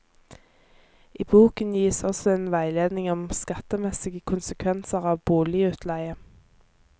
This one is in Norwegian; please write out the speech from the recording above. I boken gis også en veiledning om skattemessige konsekvenser av boligutleie.